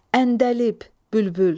Əndəlib, bülbül.